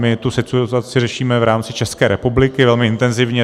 My tu situaci řešíme v rámci České republiky velmi intenzivně.